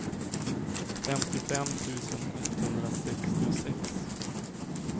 femtiofem tusen etthundrasextiosex